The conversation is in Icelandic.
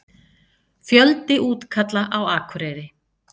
Fjöldi útkalla á Akureyri